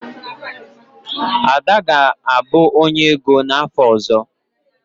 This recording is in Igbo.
Ada ga-abụ onye ego n'afọ ọzọ.